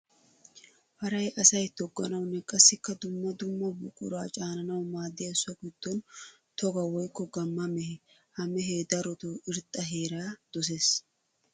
Paray asay togganawunne qassikka dumma dumma buqura caananawu maadiya so gidon togga woykka gamma mehe. Ha mehe darotto irxxa heera dosees.